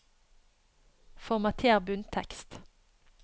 Formater bunntekst